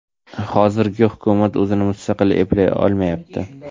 Hozirgi hukumat o‘zini mustaqil eplay olmayapti.